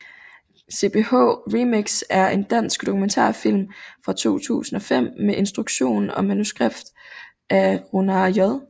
CPH Remix er en dansk dokumentarfilm fra 2005 med instruktion og manuskript af Rúnar J